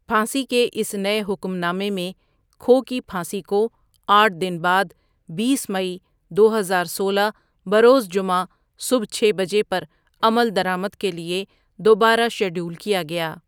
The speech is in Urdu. پھانسی کے اس نئے حکم نامے میں، کھو کی پھانسی کو آٹھ دن بعد بیس مئی دو ہزار سولہ بروز جمعہ صبح چھ بجے پر عمل درآمد کے لیے دوبارہ شیڈول کیا گیا۔